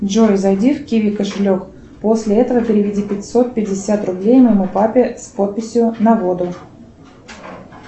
джой зайди в киви кошелек после этого переведи пятьсот пятьдесят рублей моему папе с подписью на воду